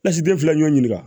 Lasiden fila ɲɔ ɲininka